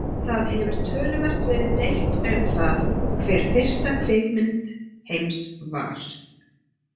Það hefur töluvert verið deilt um það hver fyrsta kvikmynd heims var.